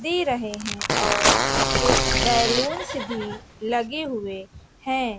दे रहे हैं और कुछ बैलूंस भी लगे हुए हैं।